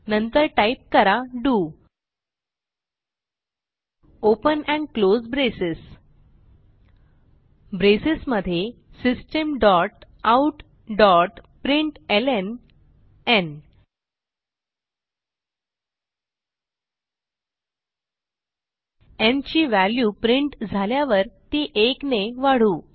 नंतर टाईप करा do open and close braces braces मध्ये systemoutप्रिंटलं न् ची व्हॅल्यू प्रिंट झाल्यावर ती 1 ने वाढवू